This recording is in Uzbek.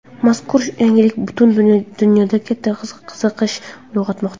Mazkur yangilik butun dunyoda katta qiziqish uyg‘otmoqda.